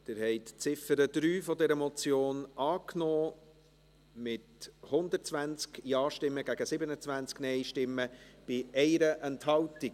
Sie haben die Ziffer 3 dieser Motion angenommen, mit 120 Ja- gegen 27 Nein-Stimmen bei 1 Enthaltung.